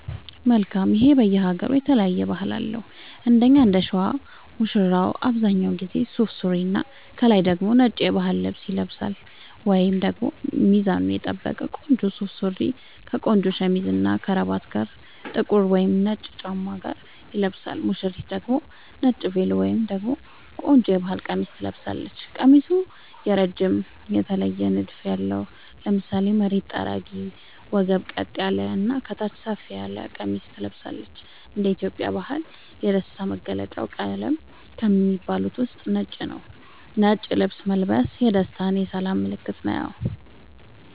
መልካም ይሄ በየ ሃገሩ የተለያየ ባህል አለው እንደኛ እንደሸዋ ሙሽራው አብዛኛውን ጊዜ ሱፍ ሱሪና ከላይ ደግሞ ነጭ የባህል ልብስ ይለብሳልወይንም ደግሞ ሚዛኑን የጠበቀ ቆንጆ ሱፍ ሱሪ ከቆንጆ ሸሚዝ እና ከረባት ጋር ጥቁር ወይም ነጭ ጫማ ጋር ይለብሳል ሙሽሪት ደግሞ ነጭ ቬሎ ወይም ደግሞ ቆንጆ የባህል ቀሚስ ትለብሳለች ቀሚሱ እረጅም የተለየ ንድፍ ያለው ( ለምሳሌ መሬት ጠራጊ ወገብ ቀጥ ያለ እና ከታች ሰፋ ያለ ቀሚስ ትለብሳለች )እንደ ኢትዮጵያ ባህል የደስታ መገልውጫ ቀለም ከሚባሉት ውስጥ ነጭ ነዉ ነጭ ልብስ መልበስ የደስታ የሰላም ምልክትም ነዉ